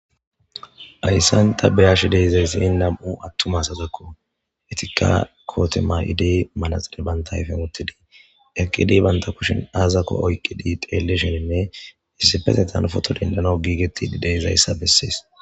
ayssanta beyash deyzayssii nam7u attuma sazekko etika koote ma7idey malaxile banta ayfen uttidii eqqidi banta kushin aazakko oyqqi di teellesheninne issipetetan foto dendano giigetidi deyzayssa bessees